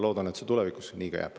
Loodan, et see ka tulevikus nii jääb.